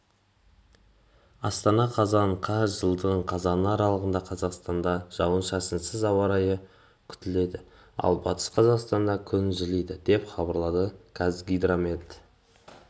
астана қазан қаз жылдың қазаны аралығында қазақстанда жауын-шашынсыз ауа райы күтіледі ал батыс қазақстанда күн жылиды деп хабарлады қазгидромет